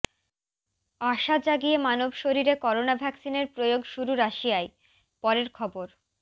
আশা জাগিয়ে মানব শরীরে করোনা ভ্যাকসিনের প্রয়োগ শুরু রাশিয়ায় পরের খবর